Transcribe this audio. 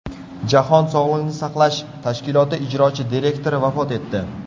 Jahon sog‘liqni saqlash tashkiloti ijrochi direktori vafot etdi.